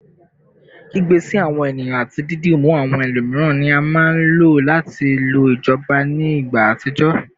Kigbe si awọn eniyan ati didimu awọn ẹlomiran ni a maa n lo lati lo ijọba ni igba atijọ